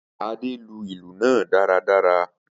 Ade lu ilu naa daradara.